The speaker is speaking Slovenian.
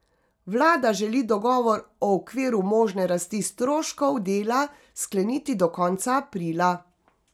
Vlada želi dogovor o okviru možne rasti stroškov dela skleniti do konca aprila.